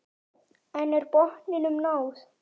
En er botninum náð?